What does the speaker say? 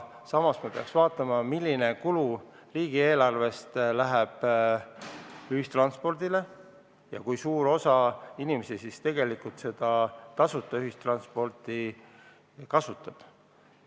Samas me peaks vaatama, milline kulu riigieelarvest läheb ühistranspordile ja kui suur osa inimesi tegelikult seda tasuta ühistransporti kasutab.